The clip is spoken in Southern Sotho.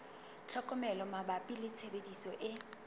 tlhokomelo mabapi le tshebediso e